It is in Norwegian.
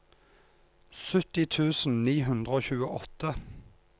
sytti tusen ni hundre og tjueåtte